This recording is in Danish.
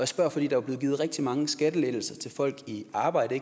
spørger fordi der er givet rigtig mange skattelettelser til folk i arbejde